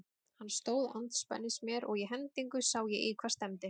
Hann stóð andspænis mér og í hendingu sá ég í hvað stefndi.